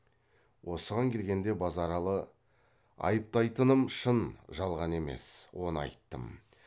осыған келгенде базаралы айыптайтыным шын жалған емес оны айттым